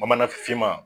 Manamana finman